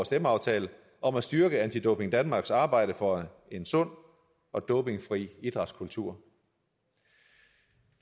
stemmeaftale om at styrke anti doping danmarks arbejde for en sund og dopingfri idrætskultur